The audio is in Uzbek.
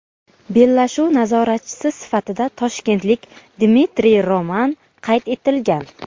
Bellashuv nazoratchisi sifatida toshkentlik Dmitriy Roman qayd etilgan.